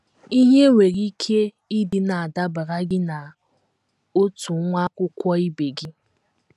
Ihe nwere ike ịdị na - adabara gị na otu nwa akwụkwọ ibe gị.